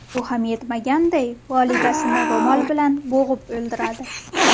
Bu ham yetmaganday, volidasini ro‘mol bilan bo‘g‘ib o‘ldiradi.